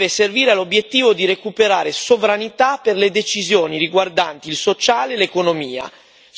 devono servire all'obiettivo di recuperare sovranità per le decisioni riguardanti il sociale e l'economia.